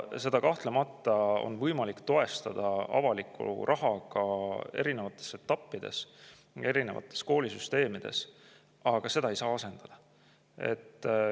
Seda on kahtlemata võimalik toestada avaliku rahaga erinevates etappides, erinevates koolisüsteemides, aga seda ei saa asendada.